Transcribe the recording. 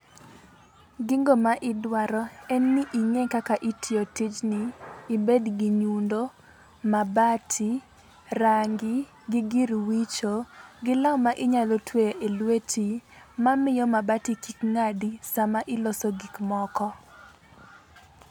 Gigo ma idwaro en ni ing'e kaka itiyo tijni ibedgi nyundo, mabati, rangi gi gir wicho gi law ma inyalo twe e lweti mamiyo mabati kik ng'adi sama iloso gikmoko.